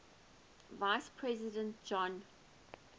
vice president john